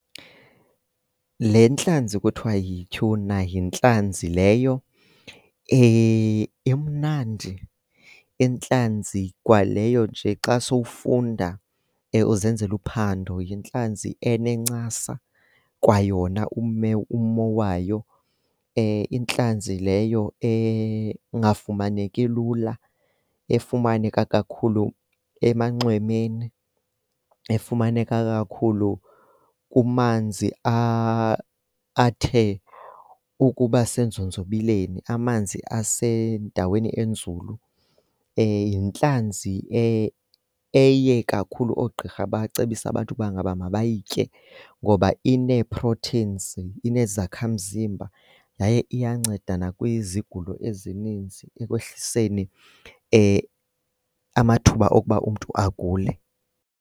Le ntlanzi kuthiwa yi-tuna yintlanzi leyo emnandi. Intlanzi kwaleyo nje xa sowufunda uzenzela uphando, yintlanzi enencasa kwayona umme, ummo wayo. Intlanzi leyo engafumaneki lula, efumaneka kakhulu emanxwemeni, efumaneka kakhulu kumanzi athe ukuba senzonzobileni, amanzi asendaweni enzulu. Yintlanzi eye kakhulu oogqirha bacebise abantu uba ngaba mabayitye ngoba inee-proteins, inezakhamzimba yaye iyanceda nakwizigulo ezininzi ekwehliseni amathuba okuba umntu agule.